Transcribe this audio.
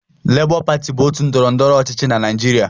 Lebọ pati bụ otu ndọrọndọrọ ọchịchị na Naịjirịa.